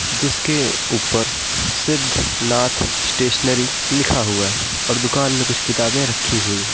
जिसके ऊपर सिद्ध नाथ स्टेशनरी लिखा हुआ है और दुकान में कुछ किताबे रखी हुई है।